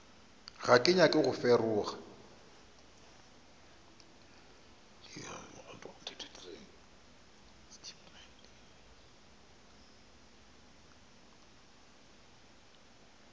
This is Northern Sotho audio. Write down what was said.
ga ke nyake go feroga